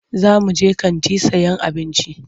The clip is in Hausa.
Za muje kanti sayan abinci.